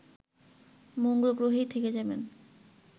মঙ্গলগ্রহেই থেকে যাবেন